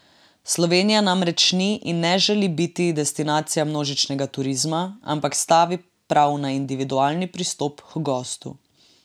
Slovenija namreč ni in ne želi biti destinacija množičnega turizma, ampak stavi prav na individualni pristop h gostu.